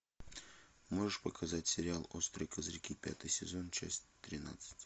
можешь показать сериал острые козырьки пятый сезон часть тринадцать